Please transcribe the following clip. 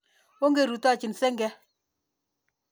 Onge rutochi senge.